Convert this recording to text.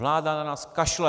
Vláda na nás kašle!